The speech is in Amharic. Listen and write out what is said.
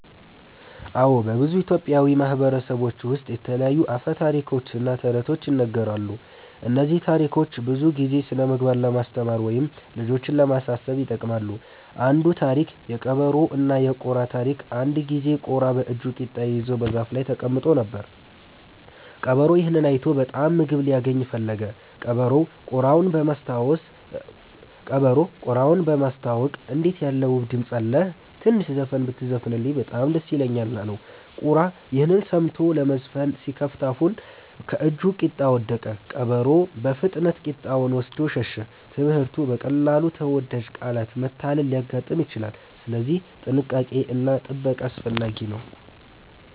አዎ፣ በብዙ ኢትዮጵያዊ ማህበረሰቦች ውስጥ የተለያዩ አፈ ታሪኮች እና ተረቶች ይነገራሉ። እነዚህ ታሪኮች ብዙ ጊዜ ስነ-ምግባር ለማስተማር ወይም ልጆችን ለማሳሰብ ይጠቅማሉ። አንዱ ታሪክ (የቀበሮና የቁራ ታሪክ) አንድ ጊዜ ቁራ በእጁ ቂጣ ይዞ በዛፍ ላይ ተቀምጦ ነበር። ቀበሮ ይህን አይቶ በጣም ምግብ ሊያገኝ ፈለገ። ቀበሮው ቁራውን በማስታወቅ “እንዴት ያለ ውብ ድምፅ አለህ! ትንሽ ዘፈን ብትዘፍን በጣም ደስ ይለኛል” አለው። ቁራ ይህን ሰምቶ ለመዘፈን ሲከፍት አፉን ከእጁ ቂጣ ወደቀ። ቀበሮ ፈጥኖ ቂጣውን ወስዶ ሸሸ። ትምህርቱ: በቀላሉ በተወዳጅ ቃላት መታለል ሊያጋጥም ይችላል፣ ስለዚህ ጥንቃቄ እና ጥበቃ አስፈላጊ ነው።